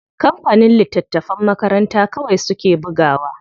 Kampanin littatafan makaranta kawai suke bugawa.